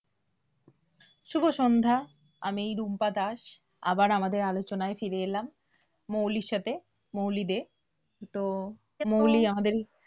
শুভ সন্ধ্যা, আমি রুম্পা দাস, আবার আমাদের আলোচনায় ফিরে এলাম, মৌলির সাথে, মৌলি দে তো মৌলি আমাদের